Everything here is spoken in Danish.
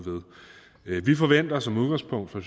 ved vi forventer som udgangspunkt fra